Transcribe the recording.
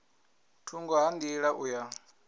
thungo ha nḓila u ya